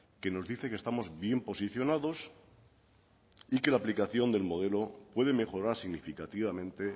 que nos dice que estamos bien posicionados y que la aplicación del modelo puede mejorar significativamente